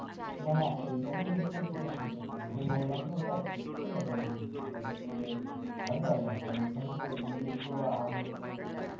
না না, এইভাবে দেখছো সেটা ঠিক আছে আমি বললাম যে এটা দেখতে পারো ইংলিশে, এটা দেখলে পারবে কারণ এখানে তো ইংলিশ গুলো